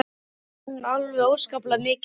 Hann vann alveg óskaplega mikið allt sitt líf.